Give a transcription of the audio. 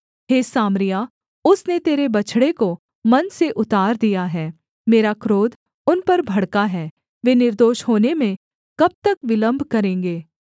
हे Samaria उसने तेरे बछड़े को मन से उतार दिया है मेरा क्रोध उन पर भड़का है वे निर्दोष होने में कब तक विलम्ब करेंगे